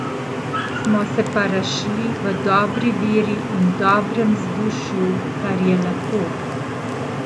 Smo se pa razšli v dobri veri in dobrem vzdušju, kar je lepo.